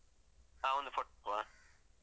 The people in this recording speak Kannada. ಹ. ಅವ್ನ್ದು photo ಹಾಕುವ.